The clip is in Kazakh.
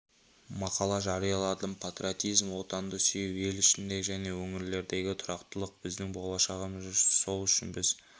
мақала жарияладым патриотизм отанды сүю ел ішіндегі және өңірлердегі тұрақтылық біздің болашағымыз сол үшін біз